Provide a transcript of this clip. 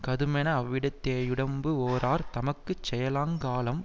கதுமென அவ்விடத்தே யுடம்பு வேரார் தமக்கு செய்யலாங் காலம்